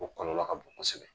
O kɔlɔlɔ ka bon kosɛbɛ